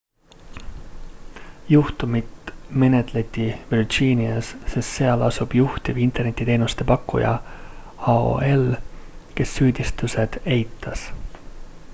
juhtumit menetleti virginias sest seal asub juhtiv internetiteenuse pakkuja aol kes süüditused esitas